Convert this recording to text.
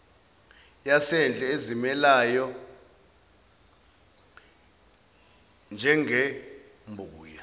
yasendle ezimilelayo njengembuya